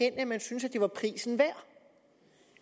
at man synes at det var prisen værd